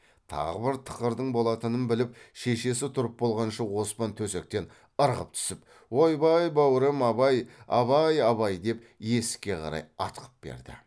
тағы бір тықырдың болатынын біліп шешесі тұрып болғанша оспан төсектен ырғып түсіп ойбай бау рем абай абай абай деп есікке қарай атқып берді